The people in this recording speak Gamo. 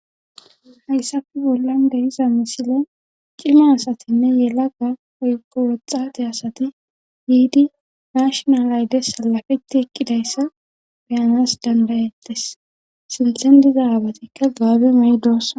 Hayssafi bollan dehiza misile cima asatinne yela ga oykko woxxati asati yiidi mashnalayde salafetti eqqidayssa beyanas dandayettes sinthen diza aabatikka gaabe may7 doosa.